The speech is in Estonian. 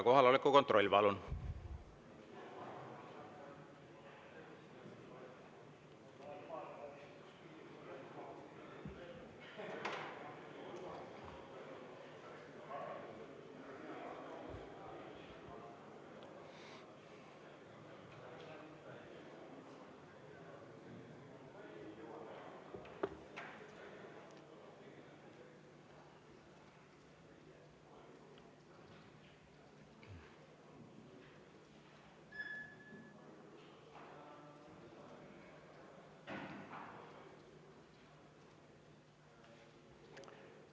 Kohaloleku kontroll, palun!